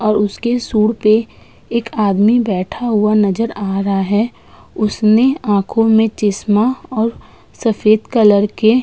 और उसके सुँढ़ पे एक आदमी बैठा हुआ नजर आ रहा है। उसने आंखों में चश्मा और सफेद कलर के --